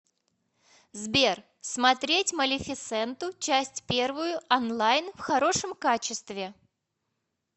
сбер смотреть малефисенту часть первую онлайн в хорошем качестве